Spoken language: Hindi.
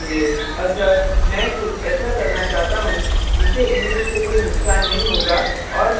अतः मैं कुछ ऐसा करना चाहता हूँ जिससे image को कोई नुकसान नहीं होगा और मैं बाद में उसे समायोजित कर सकता हूँ